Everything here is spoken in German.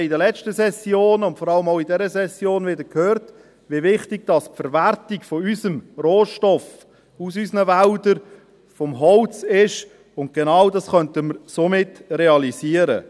Wir haben in den letzten Sessionen und vor allem auch in dieser Session wieder gehört, wie wichtig die Verwertung des Holzes – unseres Rohstoffs aus unseren Wäldern – ist, und genau das könnten wir damit realisieren.